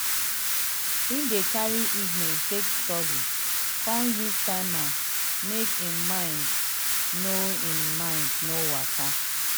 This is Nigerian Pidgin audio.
he dey carry evening take study con use timer make him mind no him mind no waka.